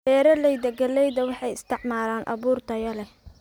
Beeralayda galleyda waxay isticmaalaan abuur tayo leh.